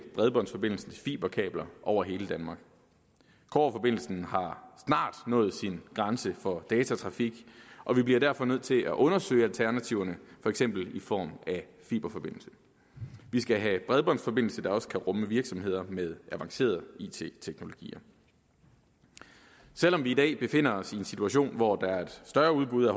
bredbåndsforbindelsen til fiberkabler over hele danmark kobberforbindelsen har snart nået sin grænse for datatrafik og vi bliver derfor nødt til at undersøge alternativerne for eksempel i form af fiberforbindelse vi skal have bredbåndsforbindelser der også kan rumme virksomheder med avancerede it teknologier selv om vi i dag befinder os i en situation hvor der er et større udbud